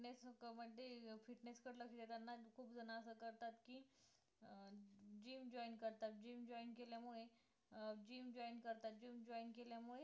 fitness कडे म्हणजे fitness कडे लक्ष देताना खूप जणं असं करतात की अं gym joint करतात gym joint केल्या मुळे अं gym joint करतात gym joint केल्या मुळे